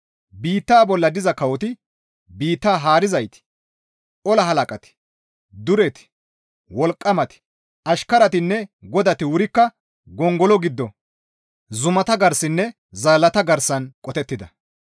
Biitta bolla diza kawoti biitta haarizayti, ola halaqati, dureti, wolqqamati, ashkaratinne godati wurikka gongolo giddo, zumata garsaninne zaallata garsan qotettida.